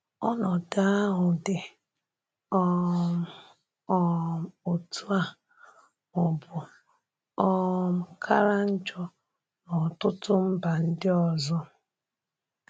Ọnọdụ ahụ dị́ um um otú a ma ọ bụ́ um kàrà njọ n’ọtụtụ mba ndị ọzọ.